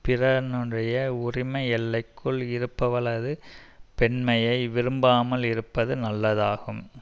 பிறனுடைய உரிமை எல்லைக்குள் இருப்பவளது பெண்மையை விரும்பாமல் இருப்பது நல்லதாகும்